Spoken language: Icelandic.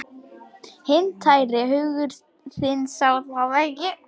Hinn tæri hugur þinn sá það ekki.